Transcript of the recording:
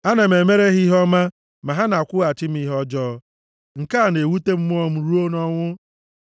Ana m emere ha ihe ọma, ma ha na-akwụghachi m ihe ọjọọ. Nke a na-ewute mmụọ m ruo nʼọnwụ.